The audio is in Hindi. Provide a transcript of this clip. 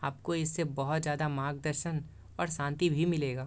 आपको इससे बहुत सारा मार्गदर्शन और शांति भी मिलेगा।